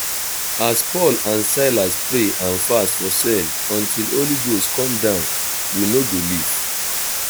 as paul and silas pray and fast for cell until holy ghost come down we no go leave